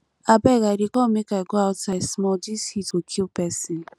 abeg i dey come make i go outside small dis heat go kill person